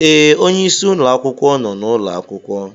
Ee, onyeisi ụlọ akwụkwọ nọ n'ụlọ akwụkwọ.